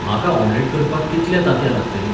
म्हाका ऑम्लेट करपाक कितली तांतयां लागतलीं?